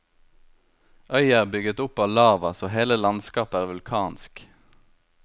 Øya er bygget opp av lava, så hele landskapet er vulkansk.